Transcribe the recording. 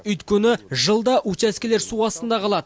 өйткені жылда учаскелер су астында қалады